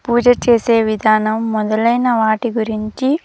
పూజ చేసే విధానం మొదలైన వాటి గురించి--